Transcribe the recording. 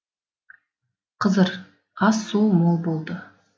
қызыр ас су мол болды